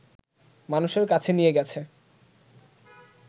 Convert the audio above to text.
মানুষের কাছে নিয়ে গেছে